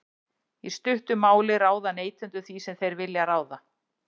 í stuttu máli ráða neytendur því sem þeir vilja ráða